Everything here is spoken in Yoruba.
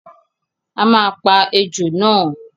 A máa pa ejò náà!